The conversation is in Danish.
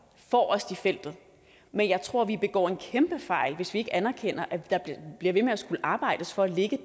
forrest i feltet men jeg tror at vi begår en kæmpe fejl hvis vi ikke anerkender at vi bliver ved med at skulle arbejde for at ligge